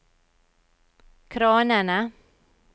kranene